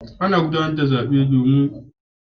Ana gudanar da zaɓe domin zaɓin shugabanni